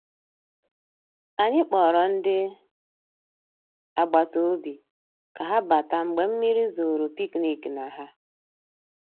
Ànyị́ kpọ̀rọ́ ndị́ àgbàtà òbí ká há batà mgbeé mmírí zòró pìkníkì ná há.